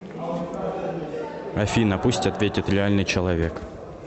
афина пусть ответит реальный человек